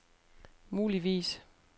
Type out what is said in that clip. muligvis